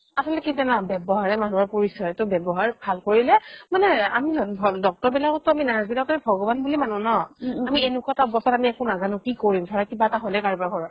আচলতে কি জানা ব্যৱহাৰে মানুহৰ পৰিচয় to ব্যৱহাৰ ভাল কৰিলে মানে আমি doctor বিলাকতকৈ nurse বিলাককে আমি ভগৱান বুলি মানো ন আমি এনেকুৱা এটা অৱস্থাত আমি একো নাজানো কি কৰিম ধৰা কিবা এটা হ'লে কাৰোবাৰ ঘৰত